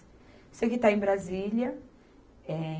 Sei que está em Brasília.